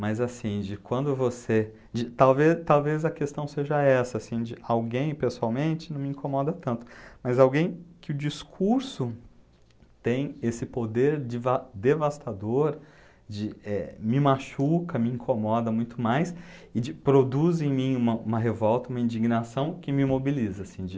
Mas assim, de quando você de... Tal talvez a questão seja essa, assim, de, alguém pessoalmente não me incomoda tanto, mas alguém que o discurso tem esse poder deva devastador, de, eh, me machuca, me incomoda muito mais e, de, produz em mim uma uma revolta, uma indignação que me mobiliza. Assim, de,